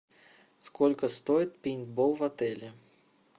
сколько стоит пейнтбол в отеле